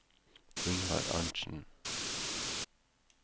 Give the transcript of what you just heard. Ingvar Arntsen